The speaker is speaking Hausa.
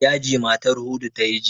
Yaji matar Hudu ta yi jiya.